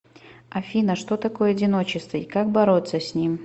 афина что такое одиночество и как бороться с ним